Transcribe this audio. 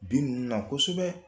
Bin ninnu la na kosɛbɛ